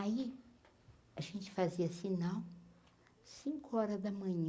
Aí, a gente fazia sinal, cinco horas da manhã,